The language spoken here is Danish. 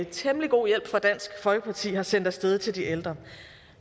temmelig god hjælp fra dansk folkeparti har sendt af sted til de ældre